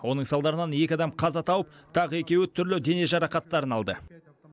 оның салдарынан екі адам қаза тауып тағы екеуі түрлі дене жарақаттарын алды